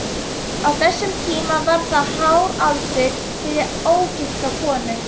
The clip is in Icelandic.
Á þessum tíma var það hár aldur fyrir ógifta konu.